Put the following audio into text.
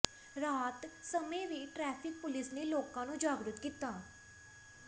ਰਾਤ ਸਮੇਂ ਵੀ ਟ੍ਰੈਫ਼ਿਕ ਪੁਲਿਸ ਨੇ ਲੋਕਾਂ ਨੂੰ ਜਾਗਰੂਕ ਕੀਤਾ